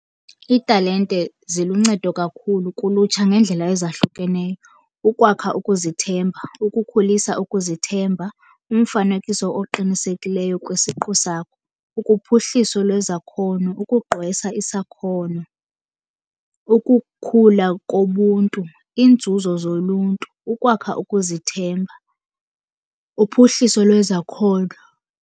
Iitalente ziluncedo kakhulu kulutsha ngeendlela ezahlukeneyo. Ukwakha ukuzithemba, ukukhulisa ukuzithemba, umfanekiso oqinisekileyo kwisiqu sakho, ukuphuhliso lwezakhono, ukugqwesa isakhono, ukukhula kobuntu, iinzuzo zoluntu, ukwakha ukuzithemba, uphuhliso lwezakhono.